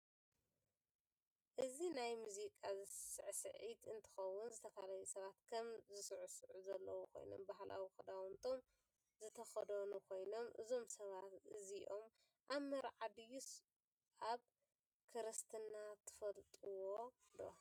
እዚ ናይ መዝቃ ስስዕት እንትከውን ዝተፈላላዩ ሰባት ከም ዝስስዑ ዘለው ኮይኖም ባህላዊ ክዳውንቶም ዝተከደኑ ኮይኖም እዞም ሰባት እዝኦም ኣብ መርዓ ድይስ ኣብ ክርስትና ትፈልጥዎዶ?